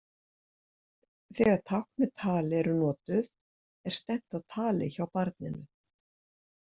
Þegar tákn með tali eru notuð er stefnt að tali hjá barninu.